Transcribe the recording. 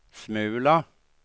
smula